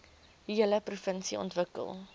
hele provinsie ontwikkel